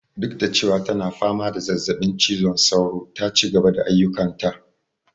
Duk da cewa tana fama da zazzaɓin cizon sauro ta cigaba da ayyukan ta